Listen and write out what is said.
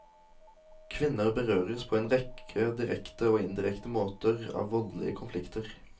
Kvinner berøres på en rekke direkte og indirekte måter av voldelige konflikter.